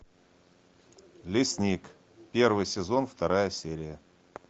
лесник первый сезон вторая серия